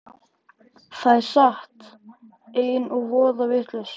Það er satt. einn voða vitlaus!